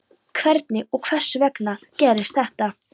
Hvernig og hvers vegna gerðist þetta?